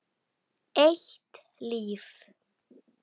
Eitt líf.